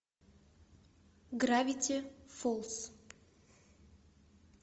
гравити фолз